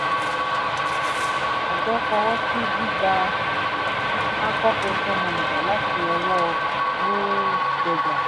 àjọ fọwọ́ sí gbígba anchor pension managers láti ọwọ́ norrenberger